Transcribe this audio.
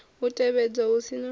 u tevhedzwa hu si na